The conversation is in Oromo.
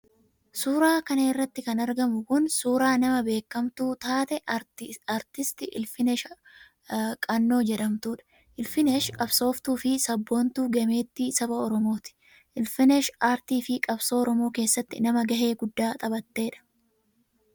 Suura kana irratti kan argamu kun suura nama beekkamtuu taate Artist Ilfinesha Qannoo jedhamtudha. Ilfinesh qabsooftuu fi sabboontuu gameetti Saba Oromooti. Ilfinesh aartii fi qabsoo Oromoo keessatti nama gahee guddaa taphattedha.